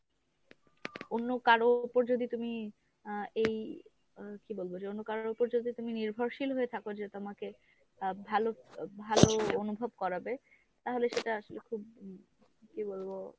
অন্য কারো উপর যদি তুমি আহ এই কী বলব যে অন্যকারোর উপর ‍যদি তুমি নির্ভরশীল হয়ে থাকো যে তোমাকে আহ ভালো ভালো অনুভব করাবে তাহলে সেটা আসলে খুব কী বলব